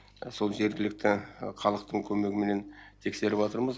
сол жергілікті халықтың көмегіменен тексеріп жатырмыз